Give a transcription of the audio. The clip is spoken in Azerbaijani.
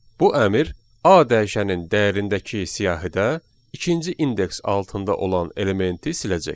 Bu əmr A dəyişənin dəyərindəki siyahıda ikinci indeks altında olan elementi siləcək.